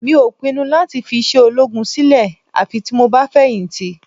Mi ò pinnu láti fi iṣẹ́ ológun sílẹ̀ àfi tí mo bá fẹ̀yìntì